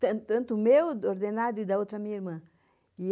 Tanto o meu ordenado e da outra minha irmã.